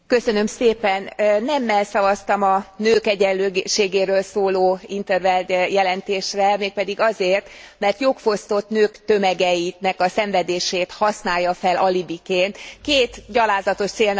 Nemmel szavaztam a nők egyenlőségéről szóló in 't Veld jelentésre, mégpedig azért, mert jogfosztott nők tömegeinek a szenvedését használja fel alibiként két gyalázatos célnak az elérésére.